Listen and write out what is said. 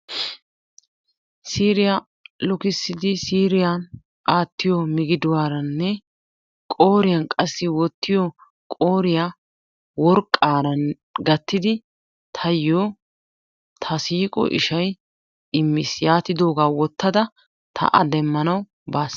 Siiriyaa lukkissidi siiriyan aattiyo miggiduwaranne qooriyan wottiyo worqqaara gattidi taayo ta siiqo ishay immiis, yaatiddogaa wottadda ta a demmanawu baas.